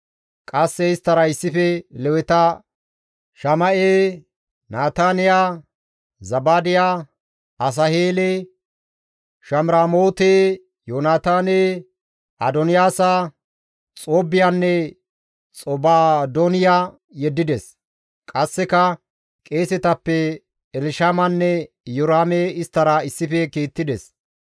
Qasse isttara issife Leweta Shama7e, Nataniya, Zabaadiya, Asaheele, Shamiramoote, Yoonataane, Adoniyaasa, Xoobbiyanne Xobaadooniya yeddides; qasseka qeesetappe Elshamanne Iyoraame isttara issife kiittides.